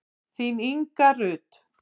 Þín Inga Rut.